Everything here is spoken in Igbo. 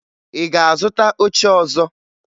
Ị ga-azụta oche ọzọ?